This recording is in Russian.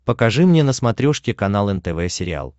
покажи мне на смотрешке канал нтв сериал